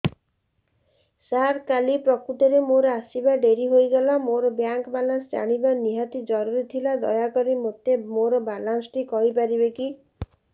ସାର କାଲି ପ୍ରକୃତରେ ମୋର ଆସିବା ଡେରି ହେଇଗଲା ମୋର ବ୍ୟାଙ୍କ ବାଲାନ୍ସ ଜାଣିବା ନିହାତି ଜରୁରୀ ଥିଲା ଦୟାକରି ମୋତେ ମୋର ବାଲାନ୍ସ ଟି କହିପାରିବେକି